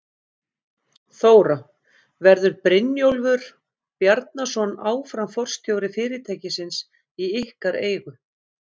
Þóra: Verður Brynjólfur Bjarnason áfram forstjóri fyrirtækisins í ykkar eigu?